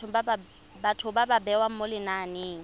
batho ba bewa mo lenaneng